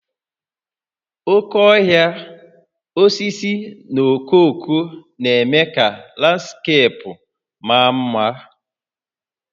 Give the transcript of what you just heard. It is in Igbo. Oke ohia, osisi na okooko na-eme ka landskeepu maa mma